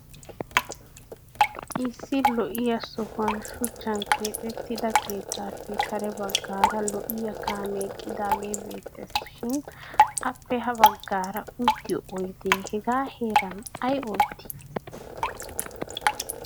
Issi lo''iyaa sohuwan shuchchan keexettiida keettaappe kare baggaara lo'iya kaamee eqqidaagee beettes. Shin appe ha baggaara uttiyo oydee hegaa heeran ay oottii?